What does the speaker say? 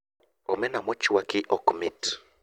Omena mochwaki ok mit